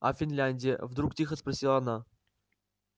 а финляндия вдруг тихо спросила она